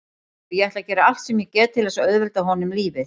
Og ég ætla að gera allt sem ég get til þess að auðvelda honum lífið.